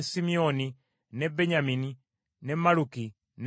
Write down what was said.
ne Benyamini, ne Malluki, ne Semaliya.